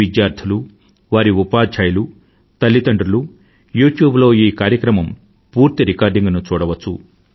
విద్యార్థులు వారి ఉపాద్యాయులు తల్లిదండ్రులు యూట్యూబ్ లో ఈ కార్యక్రమం పూర్తి రికార్డింగ్ ను చూడవచ్చు